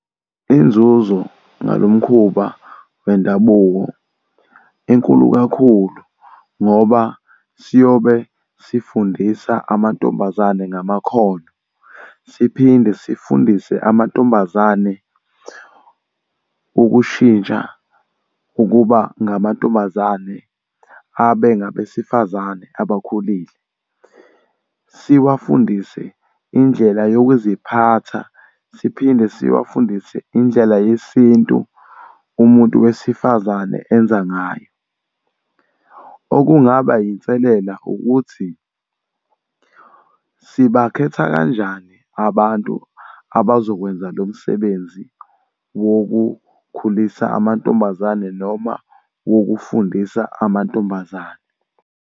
Inzuzo ngalo mkhuba wendabuko inkulu kakhulu ngoba siyobe sifundisa amantombazane ngamakhono, siphinde sifundise amantombazane ukushintsha ukuba ngamantombazane abe ngabesifazane abakhulile. Siwafundise indlela yokuziphatha, siphinde siwafundise indlela yesintu umuntu wesifazane enza ngayo. Okungaba inselela ukuthi, sibakhetha kanjani abantu abazokwenza lo msebenzi wokukhulisa amantombazane noma wokufundisa amantombazane.